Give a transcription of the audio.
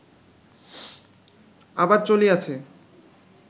আবার চলিয়াছে